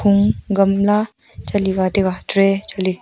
ma gamla chali ga taga tray chali.